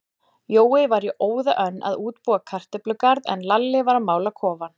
Jói var í óða önn að útbúa kartöflugarð, en Lalli var að mála kofann.